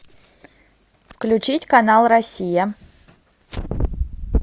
включить канал россия